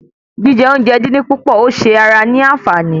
Jíjẹ oúnjẹ dín dín púpọ̀ ò ṣe ara ní anfààní